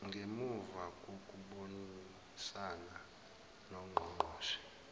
ngemuva kokubonisana nongqongqoshe